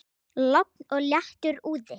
Logn og léttur úði.